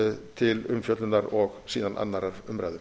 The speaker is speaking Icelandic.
til umfjöllunar og síðan aðra umræðu